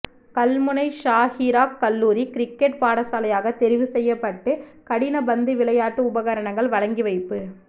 கல்முனை ஸாஹிராக் கல்லூரி கிரிக்கெட் பாடசாலையாக தெரிவு செய்யப்பட்டு கடின பந்து விளையாட்டு உபகரணங்கள் வழங்கி வைப்பு